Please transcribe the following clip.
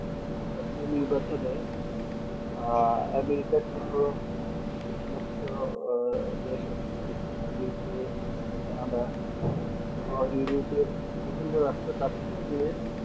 আহ america সোহো যে সমস্ত দেশ আছে Uk তার পর Canada সোহো europe এর বিভিন্ন রাষ্ট চাইছে যে